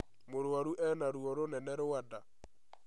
Mũrwaru ena ruo rũnene rwa nda